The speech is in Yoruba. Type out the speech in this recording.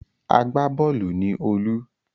Agbá-bọ́ọ́lù ni Olú.